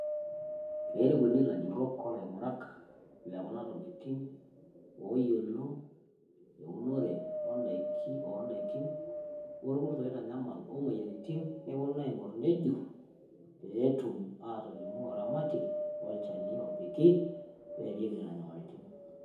Pee erikuni ilajurrok o laing`urak le kuna tokitin oo yiolo eunore o n`daikin olkurt oitanyamal o moyiaritin. Neponu aing`orr nejurr pee etum aatolimu oramatie olchani opiki pee eeriki nena nyamalaritin.